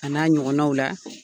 A n'a ɲɔgɔnnaw la.